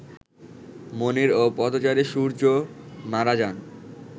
মনির ও পথচারী সূর্য্য মারা যান